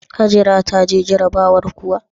Hajara ta je jarabawar kuwa?